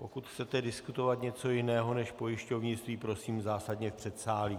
Pokud chcete diskutovat něco jiného než pojišťovnictví, prosím zásadně v předsálí.